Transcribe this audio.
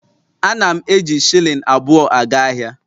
Ana m eji shilling abụọ aga ahịa